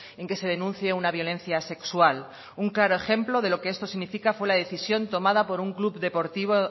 en que se denuncie una violencia sexual un claro ejemplo de lo que esto significa fue la decisión tomada por un club deportivo